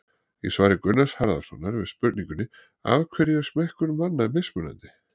Í svari Gunnars Harðarsonar við spurningunni Af hverju er smekkur manna mismunandi?